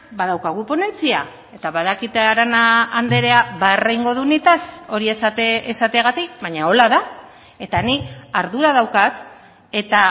badaukagu ponentzia eta badakit arana andrea barre egingo du nitaz hori esateagatik baina horrela da eta nik ardura daukat eta